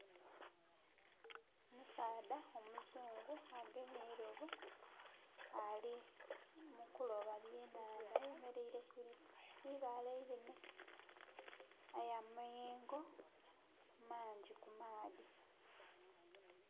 Omusaadha omuzungu agemye eirobo ali mu kuloba byenhandha, ayemeleire ku ibaale einhenhe aye amayengo mangi ku maadhi.